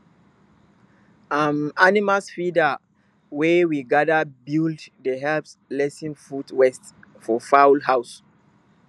um animal feeder wey we gather buld dey help lessen food waste for fowl house